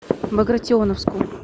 багратионовску